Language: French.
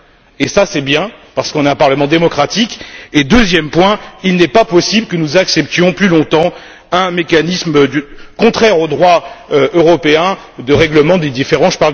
Et cela c'est bien, parce que nous avons un Parlement démocratique et, deuxièmement, il n'est pas possible que nous acceptions plus longtemps un mécanisme contraire au droit européen de règlement des différends.